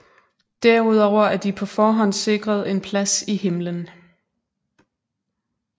Derudover er de på forhånd sikret en plads i himlen